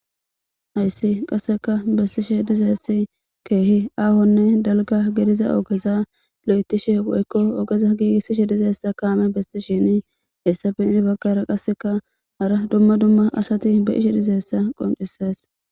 hayssi qasseka bessishe dizeessi keehi aahonne dalga gediza ogeza lo'etishe woykko ogeza giigissishe dizeessa kaame bessi shini hessafe inibaggara qasseka hara dumma dumma asati be'ishe dizaysa qoncises